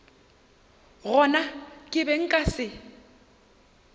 gona ke be nka se